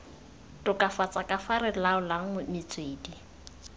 tokafatsa kafa re laolang metswedi